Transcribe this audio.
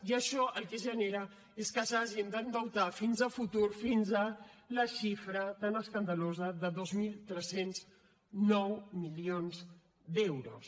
i això el que genera és que s’hagin d’endeutar a futur fins a la xifra tan escandalosa de dos mil tres cents i nou milions d’euros